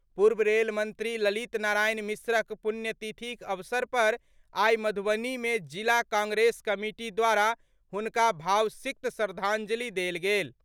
पूर्व रेल मंत्री ललित नारायण मिश्रक पुण्यतिथिक अवसर पर आइ मधुबनी मे जिला कांग्रेस कमिटी द्वारा हुनका भावसिक्त श्रद्धांजलि देल गेल।